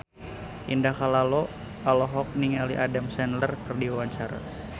Indah Kalalo olohok ningali Adam Sandler keur diwawancara